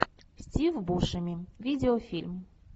стив бушеми видеофильм